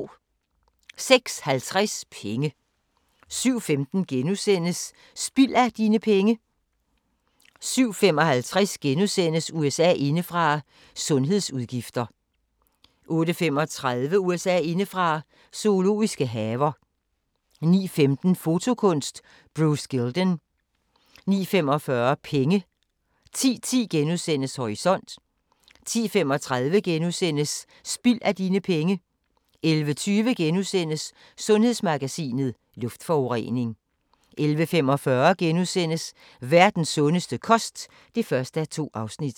06:50: Penge 07:15: Spild af dine penge * 07:55: USA indefra: Sundhedsudgifter * 08:35: USA indefra: Zoologiske haver 09:15: Fotokunst: Bruce Gilden 09:45: Penge 10:10: Horisont * 10:35: Spild af dine penge * 11:20: Sundhedsmagasinet: Luftforurening * 11:45: Verdens sundeste kost (1:2)*